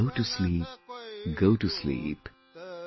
Go to sleep, Go to sleep,